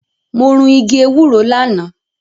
Mo run igi ewúro lánàá.